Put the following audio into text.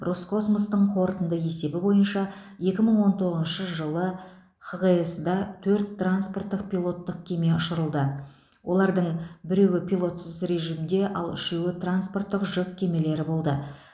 роскосмостың қорытынды есебі бойынша екі мың он тоғызыншы жылы хғс да төрт транспорттық пилоттық кеме ұшырылды олардың біреуі пилотсыз режимде ал үшеуі транспорттық жүк кемелері болды